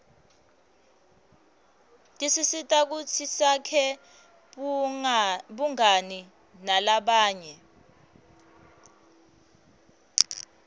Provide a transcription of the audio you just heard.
tisisita kutsi sakhe bungani nalabanye